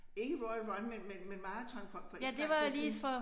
Ikke Royal Run men men men maraton for for ikke så lang tid siden